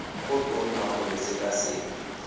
go tona go le sekaseka